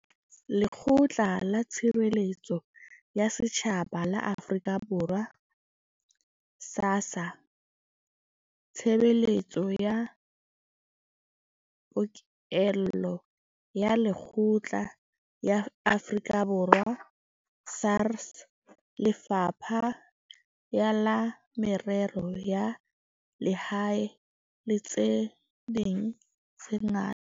Lekgotla la Tshireletso ya Setjhaba la Afrika Borwa SASSA, Tshebeletso ya Pokello ya Lekgetho ya Afrika Borwa SARS, Lefapha la Merero ya Lehae le tse ding tse ngata.